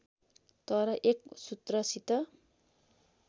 तर एक सूत्रसित